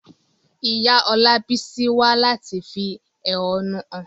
Ìyá Olabisi wá láti fi ẹ̀hónú hàn.